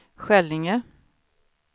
Skällinge